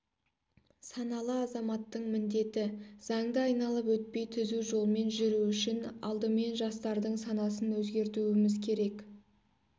саналы азаматтың міндеті заңды айналып өтпей түзу жолмен жүру үшін алдымен жастардың санасын өзгертуіміз керек